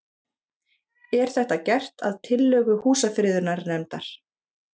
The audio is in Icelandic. Er þetta gert að tillögu Húsafriðunarnefndar